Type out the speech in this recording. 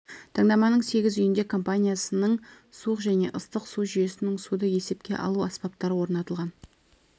таңдаманың сегіз үйінде компаниясының суық және ыстық су жүйесінің суды есепке алу аспаптары орнатылған